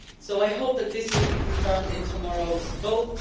I hope that this will be confirmed in tomorrow's vote.